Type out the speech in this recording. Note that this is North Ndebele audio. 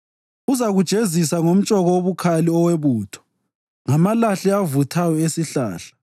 Uzakujezisa ngomtshoko obukhali owebutho, ngamalahle avuthayo esihlahla.